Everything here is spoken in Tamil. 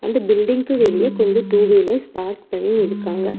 அந்த பில்டிங் க்கு வெளியே கொஞ்சோ டூ வீலர்ஸ் பார்க் பண்ணி இருக்காங்க.